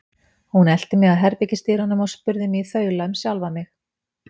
Hún elti mig að herbergisdyrunum og spurði mig í þaula um sjálfa mig.